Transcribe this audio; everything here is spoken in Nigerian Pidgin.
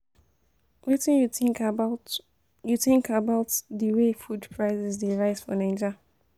Wetin you think about you think about di way food prices dey rise for Naija?